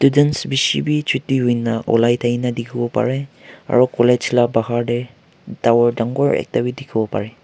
dents bishi bi chuti hoina olaitaki na dikhiwopa rae aro college la bahar tae tower dangor bi dikhiwo parae.